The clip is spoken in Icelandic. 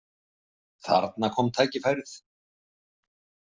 Þarna kom tækifærið.